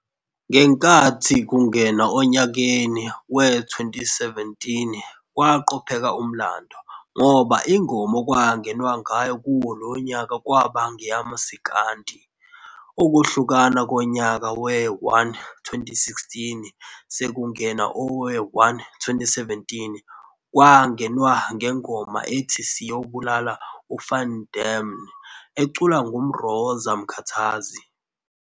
Ngenkathi kungenwa onyakeni we-2017 kwaqopheka umlando, ngoba ingoma okwangenwa ngayo kuwo lonyaka kwaba ngeyamasikandi. Ukuhlukana konyaka we-1-6 sekungena owe-1-7 kwangenwa ngengoma ethi "Siyobulal' uVan Dammne" eculwa nguMroza Mkhathazi.